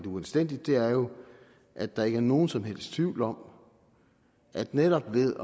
uanstændigt er jo at der ikke er nogen som helst tvivl om at netop ved